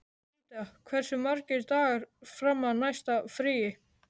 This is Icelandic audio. Ríta, hversu margir dagar fram að næsta fríi?